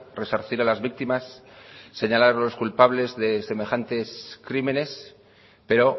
resarcir a las víctimas señalar a los culpables de semejantes crímenes pero